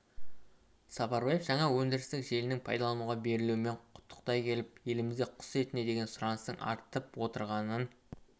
сапарбаев жаңа өндірістік желінің пайдалануға берілуімен құттықтай келіп елімізде құс етіне деген сұраныстың артып отырғанын